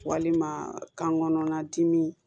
Walima kan kɔnɔna dimi